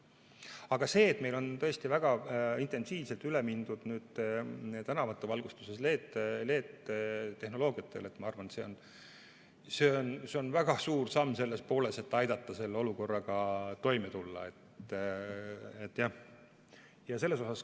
Aga see, et meil on tõesti väga intensiivselt üle mindud tänavavalgustuses LED-tehnoloogiatele, ma arvan, on väga suur samm selle poole, et aidata selle olukorraga toime tulla.